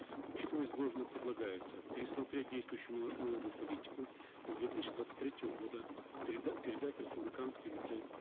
учитывая изложенное предлагается пересмотреть действующую налоговую политику и с две тысячи двадцать третьего года передать в республиканский бюджет